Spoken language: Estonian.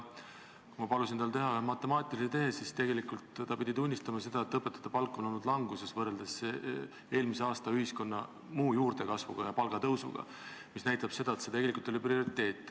Kui ma palusin tal teha ühe matemaatilise tehte, siis ta pidi tunnistama, et õpetajate palk on olnud languses võrreldes ühiskonna muu osa sissetulekute juurdekasvuga ja palgatõusuga eelmisel aastal.